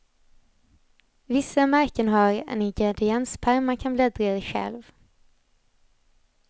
Vissa märken har en ingredienspärm man kan bläddra i själv.